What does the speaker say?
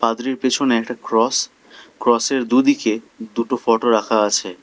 ফাদারের পিছনে একটা ক্রস ক্রসের দুদিকে দুটো ফোটো রাখা আছে।